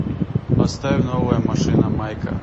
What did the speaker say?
поставь новая машина майка